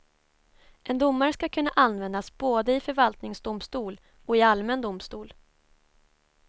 En domare ska kunna användas både i förvaltningsdomstol och i allmän domstol.